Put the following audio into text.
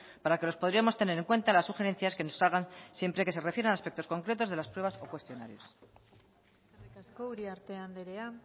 para lo que podríamos tener en cuenta las sugerencias que nos salgan siempre que se refieran a aspectos concretos de las pruebas o cuestionarios eskerrik asko uriarte andrea